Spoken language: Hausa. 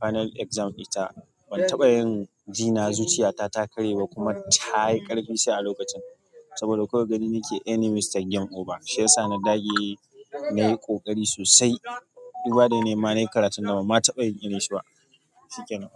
final exam ita ban taɓa yin jina zuciya ta ta karye ba kuma ta yi ƙarfi sa a lokacin saboda kawai gani yake anyi mistake game over. Shi yasa na dage, nayi ƙoƙari sosai. Duba da yanayi ma nayi karatun da ban ma taɓa taɓa yin irin shi ba. Shikenan.